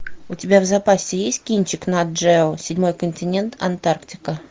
у тебя в запасе есть кинчик на джео седьмой континент антарктика